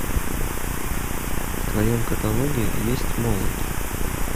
в твоем каталоге есть молот